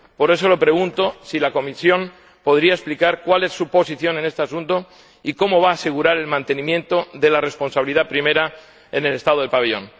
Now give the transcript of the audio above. Por eso, le pregunto si la Comisión podría explicar cuál es su posición en este asunto y cómo va a asegurar el mantenimiento de la responsabilidad primera en el Estado del pabellón.